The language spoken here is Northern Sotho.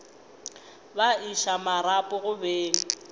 ba iša marapo go beng